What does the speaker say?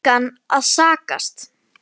Við engan að sakast